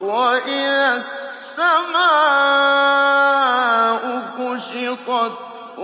وَإِذَا السَّمَاءُ كُشِطَتْ